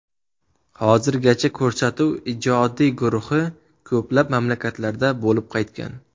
Hozirgacha ko‘rsatuv ijodiy guruhi ko‘plab mamlakatlarda bo‘lib qaytgan.